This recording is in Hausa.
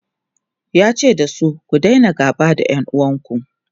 yace dasu " ku Daina gaba da ƴan uwanku!"